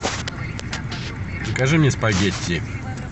закажи мне спагетти